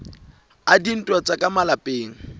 a dintwa tsa ka malapeng